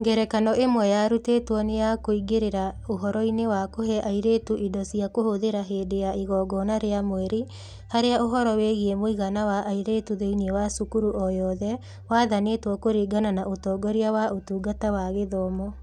Ngerekano ĩmwe yarutirwo nĩ ya kũingĩrĩra ũhoro-inĩ wa kũhe airĩtu indo cia kũhũthĩra hĩndĩ ya igongona rĩa mweri, harĩa ũhoro wĩgiĩ mũigana wa airĩtu thĩinĩ wa cukuru o yothe wathanĩtwo kũringana na ũtongoria wa Ũtungata wa Gĩthomo.